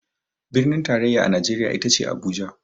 Birnin tarayya a Najeriya ita ce Abuja.